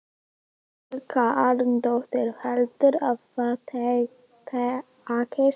Helga Arnardóttir: Heldurðu að það takist?